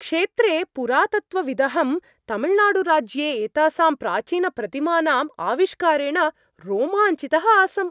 क्षेत्रे पुरातत्त्वविदहं, तमिळनाडुराज्ये एतासां प्राचीनप्रतिमानाम् आविष्कारेण रोमाञ्चितः आसम्।